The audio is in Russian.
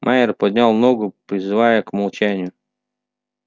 майер поднял ногу призывая к молчанию